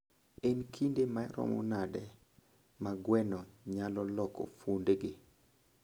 En kinde maromo nade ma gweno nyalo loko fuonde gi?